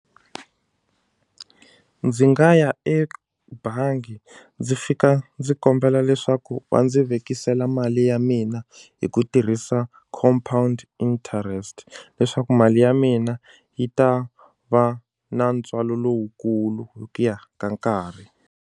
Ndzi nga ya ebangi ndzi fika ndzi kombela leswaku va ndzi vekisela mali ya mina hi ku tirhisa compound interest leswaku mali ya mina yi ta va na ntswalo lowukulu hi ku ya ka nkarhi.